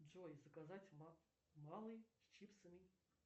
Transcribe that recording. джой заказать малый с чипсами